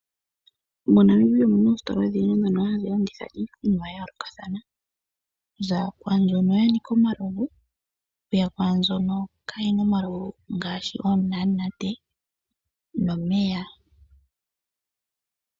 MoNamibia omuna oostola odhindji dhono hadhi landitha iikunwa ya yoolokathana okuza kwaambyono Lanikai omalovu okuyq kwaambyono kaayishi omalovu ngaashi oonamunate nomeya.